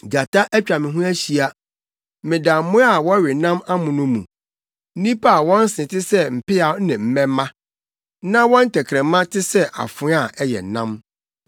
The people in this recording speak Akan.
Gyata atwa me ho ahyia; meda mmoa a wɔwe nam amono mu, nnipa a wɔn se te sɛ mpeaw ne mmɛmma na wɔn tɛkrɛma te sɛ afoa a ɛyɛ nnam.